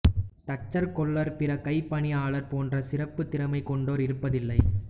தச்சர் கொல்லர் பிற கைப்பணியாளர் போன்ற சிறப்புத் திறமை கொண்டோர் இருப்பதில்லை